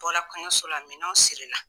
Bɔla kɔɲɔso la minɛw siri la.